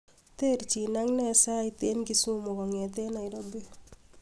terjin ak nee sait en kisumu kongetan nairobi